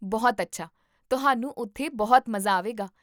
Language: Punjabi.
ਬਹੁਤ ਅੱਛਾ, ਤੁਹਾਨੂੰ ਉੱਥੇ ਬਹੁਤ ਮਜ਼ਾ ਆਵੇਗਾ